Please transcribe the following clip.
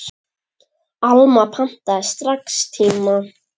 Alma pantaði strax tíma.